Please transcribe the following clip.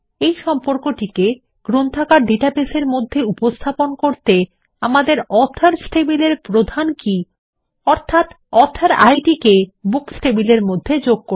এই সম্পর্কটিকে গ্রন্থাগার ডাটাবেসের মধ্যে উপস্থাপন করতে আমাদের অথর্স টেবিলের প্রধান কী অর্থাত অথর ইদ কে বুকস টেবিল এর মধ্যে যোগ করে